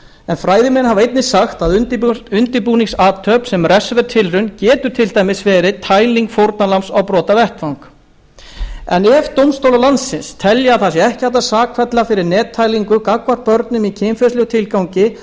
en fræðimenn hafa einnig sagt að undirbúningsathöfn sem refsiverð tilraun geti til dæmis verið tæling fórnarlambs á brotavettvang en ef dómstólar landsins telja að það sé ekki hægt að sakfella fyrir nettælingu gagnvart börnum í kynferðislegum tilgangi